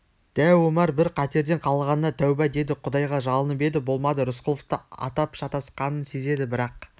дәу омар бір қатерден қалғанына тәуба деді құдайға жалынып еді болмады рысқұловты атап шатасқанын сезеді бірақ